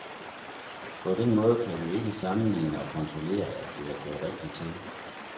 På den måde kan vi ikke sammenligne og kontrollere, at det er gået rigtigt til.